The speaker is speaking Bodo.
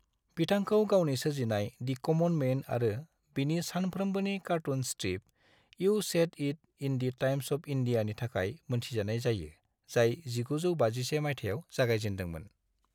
बिथांखौ गावनि सोरजिनाय, दि क'मन मैन आरो बिनि सानफ्रोमबोनि cartoon strip, you said it in the Times of इंडियानि थाखाय मोनथिजानाय जायो, जाय 1951 मायथाइयाव जागायजेनदोंमोन।